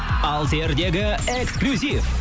алсердегі эксклюзив